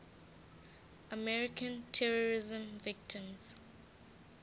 american terrorism victims